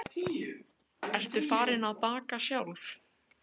Sólveig Bergmann: Ertu farin að baka sjálf?